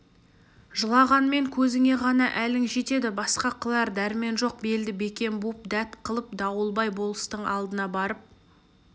жылағанмен көзіңе ғана әлің жетеді басқа қылар дәрмен жоқ белді бекем буып дәт қылып дауылбай болыстың алдына барып